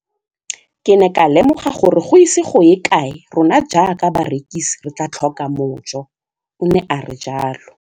Ke ne ka lemoga gore go ise go ye kae rona jaaka barekise re tla tlhoka mojo, o ne a re jalo.